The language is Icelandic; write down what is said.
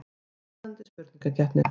Spennandi spurningakeppni.